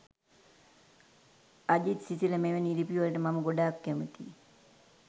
අජිත් සිසිල මෙවැනි ලිපිවලට මම ගොඩාක් කැමති